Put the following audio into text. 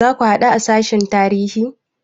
Za ku haɗu a sashen tarihi?